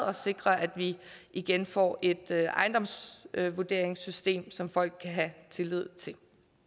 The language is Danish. og sikre at vi igen får et ejendomsvurderingssystem som folk kan have tillid til